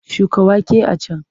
Shuka wake a can!